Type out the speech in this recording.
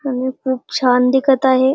आणि खूप छान दिखत आहे.